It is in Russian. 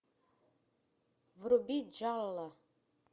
вруби джалло